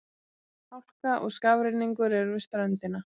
Hálka og skafrenningur er við ströndina